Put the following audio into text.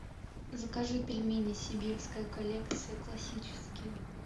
закажи пельмени сибирская коллекция классические